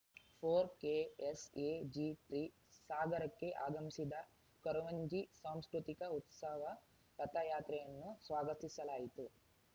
four ಕೆಎಸ್‌ಎಜಿತ್ರಿ ಸಾಗರಕ್ಕೆ ಆಗಮಿಸಿದ ಕೊರವಂಜಿ ಸಾಂಸ್ಕೃತಿಕ ಉತ್ಸವ ರಥಯಾತ್ರೆಯನ್ನು ಸ್ವಾಗತಿಸಲಾಯಿತು